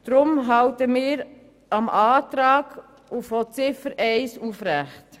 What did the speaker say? Deshalb halten wir den Antrag von Ziffer 1 aufrecht.